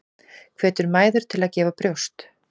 Hvetur mæður til að gefa brjóst